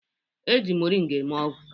E ji moringa eme ọgwụ